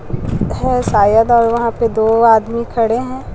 है। शायद और वहां पे दो आदमी खड़े हैं।